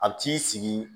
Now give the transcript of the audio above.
A t'i sigi